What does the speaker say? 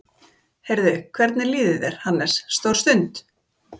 Kolbeinn: Heyrðu, hvernig líður þér, Hannes, stór stund?